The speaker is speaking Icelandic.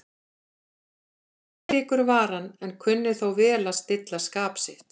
Geðríkur var hann, en kunni þó vel að stilla skap sitt.